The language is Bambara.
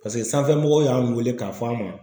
Paseke sanfɛmɔgɔw y'an wele k'a fɔ an ma